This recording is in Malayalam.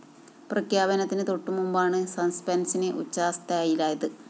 പ്രഖ്യാപനത്തിന് തൊട്ടു മുമ്പാണ് സസ്‌പെന്‍സിന് ഉച്ചസ്ഥായിലായത്